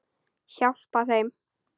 Hjálpa þeim.